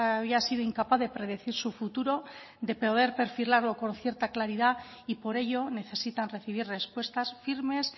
había sido incapaz de predecir su futuro de poder perfilarlo con cierta claridad y por ello necesitan recibir respuestas firmes